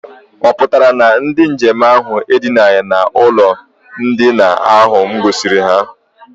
Ọ pụtara na ndị nje m ahụ edinaghị n'ụlọ ndina ahụ m gosiri ha?